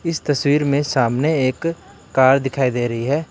इस तस्वीर में सामने एक कार दिखाई दे रही है।